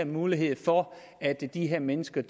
muligheder for at de her mennesker